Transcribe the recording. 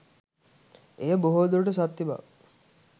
එය බොහෝ දුරට සත්‍ය බව